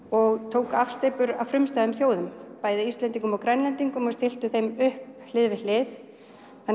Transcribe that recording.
og tóku afsteypur af frumstæðum þjóðum bæði Íslendingum og Grænlendingum og stilltu þeim upp hlið við hlið